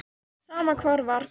Sama hvar var.